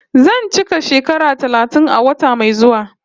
Zan cika shekara talatin a wata mai zuwa